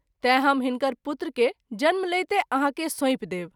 तैँ हम हिनकर पुत्र के जन्म लैते आहाँ के सौंपि देब।